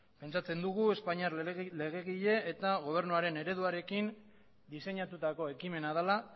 pentsatzen dugu espainiar legegile eta gobernuaren ereduarekin diseinatutako ekimena dela